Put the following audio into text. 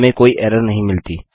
हमें कोई एरर नहीं मिली